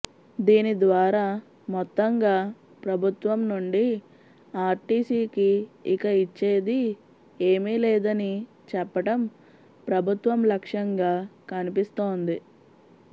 దీని ద్వారా మొత్తంగా ప్రభుత్వం నుండి ఆర్టీసీకి ఇక ఇచ్చేదీ ఏమీ లేదని చెప్పటం ప్రభుత్వం లక్ష్యంగా కనిపిస్తోంది